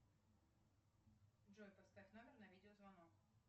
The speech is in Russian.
джой поставь номер на видеозвонок